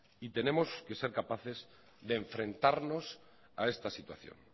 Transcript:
y tenemos que ser capaces de enfrentarnos a esta situación